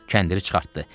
Kəndiri çıxartdı.